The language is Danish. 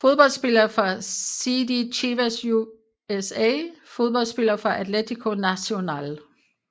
Fodboldspillere fra CD Chivas USA Fodboldspillere fra Atlético Nacional